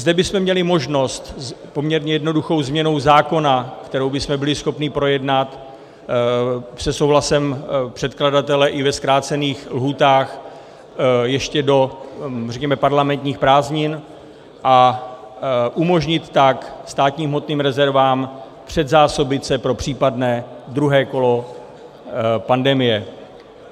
Zde bychom měli možnost poměrně jednoduchou změnou zákona, kterou bychom byli schopni projednat se souhlasem předkladatele i ve zkrácených lhůtách, ještě do, řekněme, parlamentních prázdnin, a umožnit tak státním hmotným rezervám předzásobit se pro případné druhé kolo pandemie.